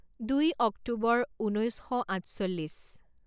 দুই অক্টোবৰ, ঊনৈছশ আঠচল্লিছ